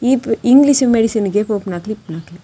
ಈ English medicine ಗೆ ಪೋಪಿನಕುಲು ಇಪ್ಪುನಕುಲ್.